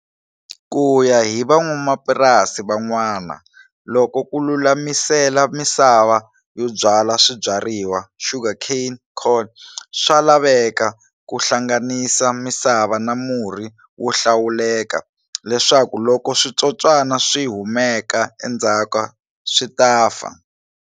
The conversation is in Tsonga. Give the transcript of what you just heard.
Kuya hi van'wamapurasi van'wana, loko ku lulamisela misava yo byala swibyariwa, sugarcane, corn, swa laveka ku hlanganisa misava na murhi wo hlawuleka, leswaku loko switsotswana swihumeka endzhaku, swita fa.